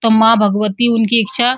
माँ भगवती उनकी इच्छा --